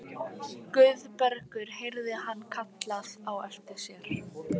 Guðbergur heyrði hann kallað á eftir sér.